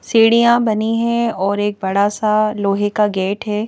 सीढ़ियां बनी है और एक बड़ा सा लोहे का गेट है।